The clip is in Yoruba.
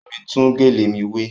Bámi tún gèlè mi wé!